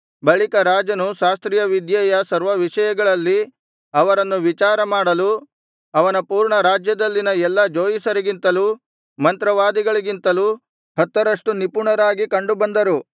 ಬಳಿಕ ರಾಜನು ಶಾಸ್ತ್ರೀಯ ವಿದ್ಯೆಯ ಸರ್ವವಿಷಯಗಳಲ್ಲಿ ಅವರನ್ನು ವಿಚಾರಮಾಡಲು ಅವನ ಪೂರ್ಣ ರಾಜ್ಯದಲ್ಲಿನ ಎಲ್ಲಾ ಜೋಯಿಸರಿಗಿಂತಲೂ ಮಂತ್ರವಾದಿಗಳಿಗಿಂತಲೂ ಹತ್ತರಷ್ಟು ನಿಪುಣರಾಗಿ ಕಂಡುಬಂದರು